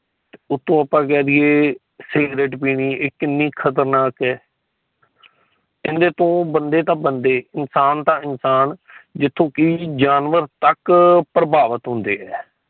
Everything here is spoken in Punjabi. ਉਤੋਂ ਆਪਾ ਕਹਿ ਦੀਏ ਸਿਗਰਟ ਪੀਣੀ ਏ ਕਿੰਨੇ ਖਤਰਨਾਕ ਹੈ। ਏਦੇ ਤੋਂ ਬੰਦੇ ਤਾ ਬੰਦੇ ਇਨਸਾਨ ਤਾ ਇਨਸਾਨ ਜਿਥੋ ਕਿ ਜਾਨਵਰ ਤੱਕ ਪ੍ਰਬਾਵਤ ਹੁੰਦੇ ਹੈ।